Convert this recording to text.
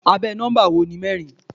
Abẹ́ nọ́mbà wo ni mẹ́rin?